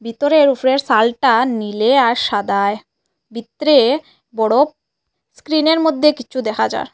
ভিতরের উফরের সালটা নীলে আর সাদায় ভিতরে বড় স্ক্রিনের মধ্যে কিছু দেখা যার।